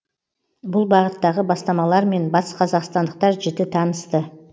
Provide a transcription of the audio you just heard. бұл бағыттағы бастамалармен батысқазақстандықтар жіті танысты